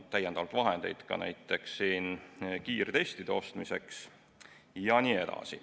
Täiendavalt on vahendeid ka näiteks kiirtestide ostmiseks jne.